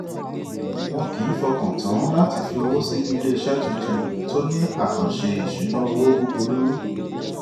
wọn kìí fọkàn tán láti fi owó sínú iléiṣẹ tuntun tó ní àkànṣe ìṣúnná owó búburú